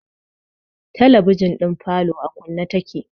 Talabijin falo a kunne take